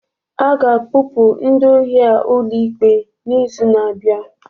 A ga-akpọpụ ndị ohi a ụlọikpe n'izu na-abịa